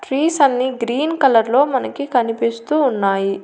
Trees అన్నీ green colour లో మనకి కనిపిస్తూ ఉన్నాయి.